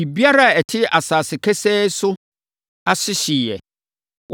Biribiara a ɛte asase kesee so nso ase hyeeɛ.